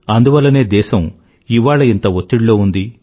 అందువల్లనే దేశం ఇవాళ ఇంత ఒత్తిడిలో ఉంది